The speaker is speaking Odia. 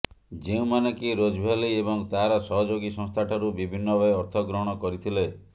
ଯେଉଁମାନେ କି ରୋଜଭ୍ୟାଲି ଏବଂ ତାରସହଯୋଗୀ ସଂସ୍ଥା ଠାରୁ ବିଭିନ୍ନ ଭାବେ ଅର୍ଥ ଗ୍ରହଣ କରିଥିଲେ